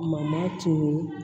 Mama tunun